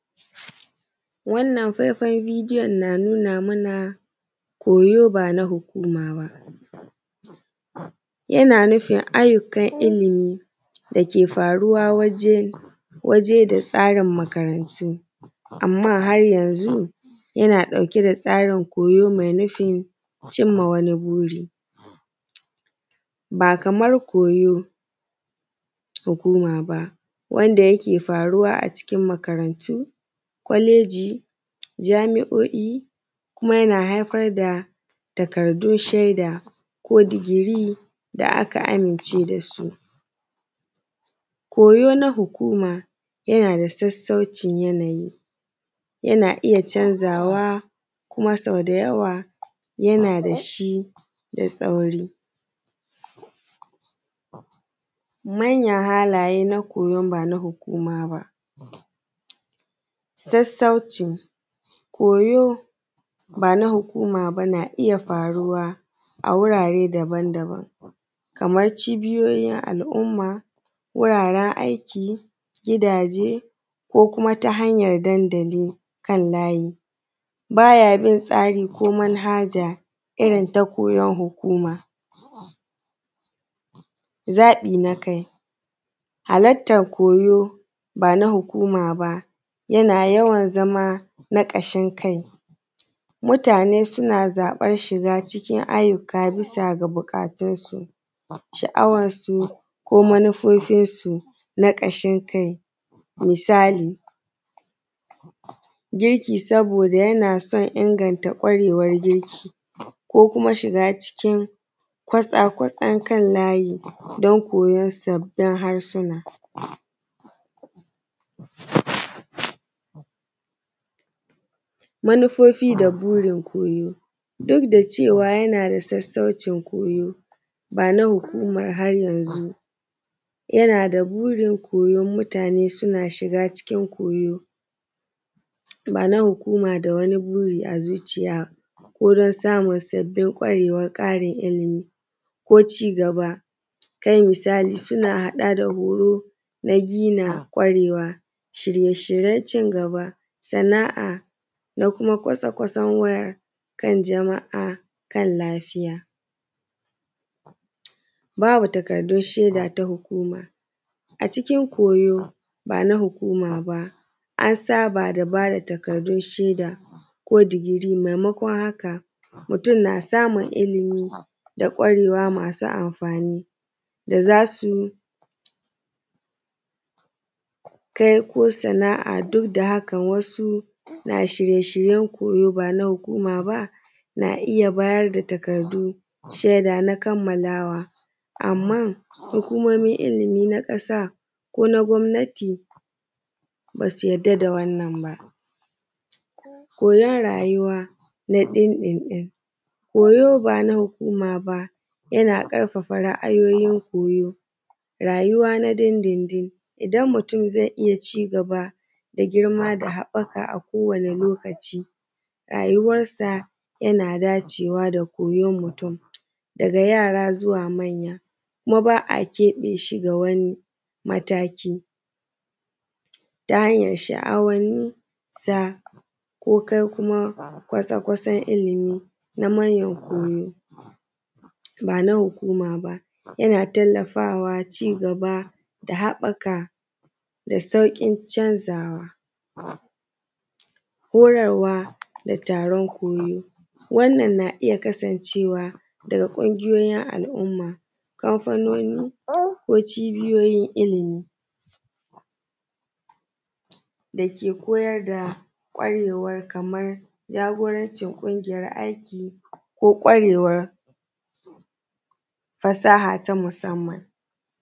Wannan faifan bidiyo yana nuna mana koyo ba na hukuma ba. Yana nufin ayyukan ilimi dake faruwa waje da tsarin makarantu, amman har yanzu yana ɗauke da tsarin koyo mai nufin cimma wani buri. Ba kaman koyo hukuma ba wanda yake faruwa a cikin makarantu, kwaleji, jami'oi kuma yana haifar da takardun shaida ko degree da aka amince da su. Koyo na hukuma yana da sassaucin yanayi yana iya canzawa kuma sau da yawa yana da shi da sauri. Manyan halaye na koyon ba na hukuma ba. Sassauci, koyo bana hukuma ba na iya faruwa a wurare daban daban kaman cibiyoyin al'umma, wuraren aiki, gidaje ko kuma ta hanyan dandali kan layi. Ba ya bin tsari ko manhaja irin ta koyon hukuma. Zaɓi na kai. Halartar koyo ba na hukuma ba yana yawan zama na ƙashin kai, mutane suna zaɓan shiga cikin ayyukan bisa ga buƙatunsu, sha'awarsu, ko manufofinsu na ƙashin kai. Misali girki yana saboda yana son inganta ƙwaryar girki, ko kuma shiga cikin kwatsa kwatsan kan layi don koyon sabbin harsuna. Manufofi da burin koyo. Duk da cewa yana da sassaucin koyo bana hukumar har yanzu yana da burin koyon mutane suna shiga cikin koyo bana hukuma da wani buri a zuciya wurin samun sabbin ƙwarewa, ƙarin ilimi, ko cigaba. kai misali suna haɗa da horo na gina ƙwarewa shirye shiryen cigaba, sana'a, na kuma kwatsa kwatsan wayar kan jama’a, kan lafiya. Bawa takardun shaida ta hukuma. A cikin koyo ba na hukuma ba an saba da bayar da takaddun shaida ko degree maimakon haka mutum na samun ilimi da ƙwarewa masu amfani da zasu kai ko sana'a duk da haka wasu na shirye shiryen koyo bana hukuma ba na iya bayar da takardun shaida na kammalawa amman hukumomin ilimi na ƙasa ko na gwamnati ba su yarda da wannan ba. Koyan rayuwa na din din din. Koyo ba na hukuma ba yana ƙarfafa ra'ayoyin koyo rayuwa na din din din idan mutum zai iya cigaba da girma da haɓɓaka a kowane lokaci rayuwarsa yana dacewa da koyon mutum, daga yara zuwa manya, kuma ba a keɓe shi ga wani mataki ta hanyar sha'awanni sa ko kai kuma kwasa kwasan ilimi na manyan koyo, ba na hukuma ba yana tallafawa cigaba da haɓɓaka da sauƙin canzawa. Horarwa da taron koyo. Wannan na iya kasancewa daga ƙungiyoyin al'umma, kamfanoni, ko cibiyoyin ilimi dake koyar da ƙwarewar kaman jagoranci ƙungiyar aiki ko ƙwarewar fasaha ta musamman.